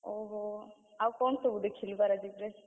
ଓହୋ! ଆଉ କଣ ସବୁ ଦେଖିଥଲୁ ପାରାଦ୍ୱୀପରେ?